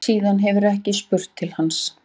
Síðan hefur ekki spurst til hans